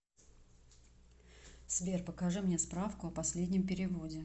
сбер покажи мне справку о последнем переводе